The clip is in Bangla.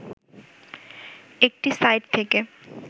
একটি সাইট থেকে